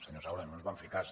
senyor saura no ens van fer cas